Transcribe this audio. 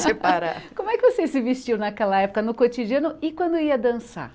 Separa Como é que vocês se vestiam naquela época, no cotidiano, e quando ia dançar?